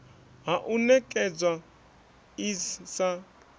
ha u ṋekedzwa iss sa